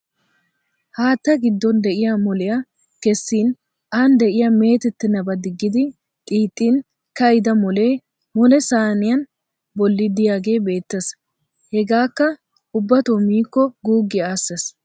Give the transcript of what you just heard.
Haatta giddon de'iya moliya kessin aani de'iyaa meetettenabaa digidi xiixxin ka'ida molee molee sayiniya bolli diyagee beettes. Hageekka ubbato miikko guuggiya aassesi.